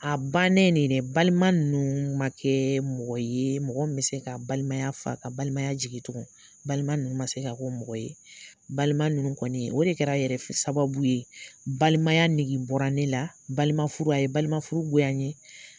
A bannen ne dɛ balima ninnu man kɛ mɔgɔ ye mɔgɔ min bɛ se ka balimaya fa ka balimaya jigi tugu balima ninnu man se ka kɛ o mɔgɔ ye balima ninnu kɔni o de kɛra yɛrɛ sababu ye balimaya nege bɔra ne la balima furu a ye balima furu goya n ye.